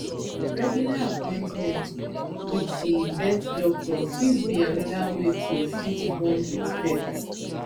regular appointment with di vet doctor fit be anoda wey to fit bond with pet